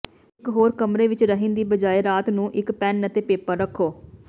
ਇਕ ਹੋਰ ਕਮਰੇ ਵਿਚ ਰਹਿਣ ਦੀ ਬਜਾਇ ਰਾਤ ਨੂੰ ਇਕ ਪੈਨ ਅਤੇ ਪੇਪਰ ਰੱਖੋ